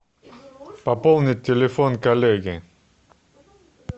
пополнить телефон коллеги